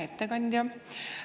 Hea ettekandja!